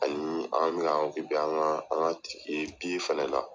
Ani an bi ka an ka an ka fana la.